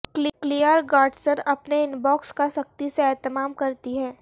clear Godson اپنے inbox کا سختی سے اہتمام کرتی ہیں